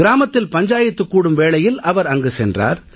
கிராமத்தில் பஞ்சாயத்து கூடும் வேளையில் அவர் அங்கு சென்றார்